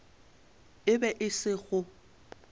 e be e se go